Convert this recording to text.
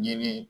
Ɲɛgɛn